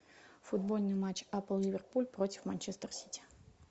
футбольный матч апл ливерпуль против манчестер сити